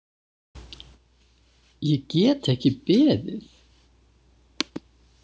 Ég get ekki beðið.